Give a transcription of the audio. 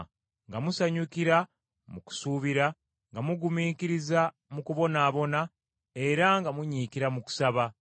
nga musanyukira mu kusuubira, nga mugumiikiriza mu kubonaabona era nga munyiikira mu kusaba.